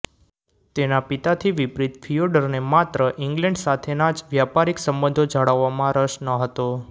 તેના પિતાથી વિપરિત ફિયોડરને માત્ર ઈંગ્લેન્ડ સાથેના જ વ્યાપારિક સંબંધો જાળવવામાં રસ ન હતો